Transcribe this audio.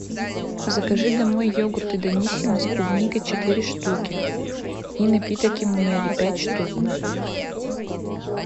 закажи домой йогурты даниссимо с клубникой четыре штуки и напиток имунеле пять штук